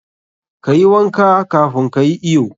Kayi wanka kafun ka yi iyo.